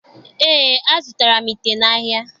Eé, azụtara m ite n'ahịa.